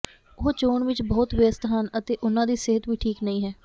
ਉਹ ਚੋਣ ਵਿਚ ਬਹੁਤ ਵਿਅਸਤ ਹਨ ਅਤੇ ਉਨ੍ਹਾਂ ਦੀ ਸਿਹਤ ਵੀ ਠੀਕ ਨਹੀਂ ਹੈ